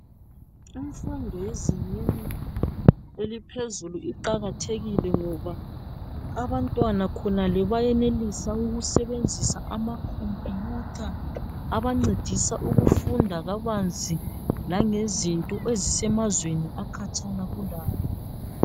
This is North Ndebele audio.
Imfundo yezingeni eliphezulu iqakathekile ngoba abantwana khonale bayenelisa ukusebenzisa ama computer abancedisa ukufunda kabanzi langezinto ezisemazweni akhatshana kulabo.